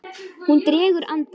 Hún dregur andann.